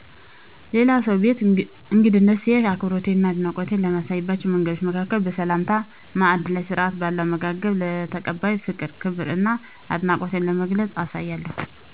ሌላ ሰው ቤት እንግድነት ስሄድ አክብሮቴን እና አድናቆቴን ከማሳይባቸው መንገዶች መካከል በሰላምታ፣ ማዕድ ላይ ስርዓት ባለው አመጋገብ፣ ለተቀባዩ ፍቅር፣ ክብር እና አድናቆቴን በመግለፅ አሳያለሁ